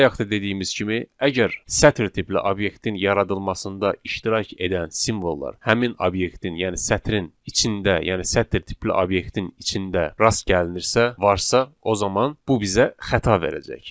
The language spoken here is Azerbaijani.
Bayaq da dediyimiz kimi, əgər sətr tipli obyektin yaradılmasında iştirak edən simvollar həmin obyektin, yəni sətrin içində, yəni sətr tipli obyektin içində rast gəlinirsə, varsa, o zaman bu bizə xəta verəcək.